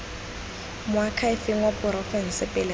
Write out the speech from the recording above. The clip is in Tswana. moakhaefeng wa porofense pele ga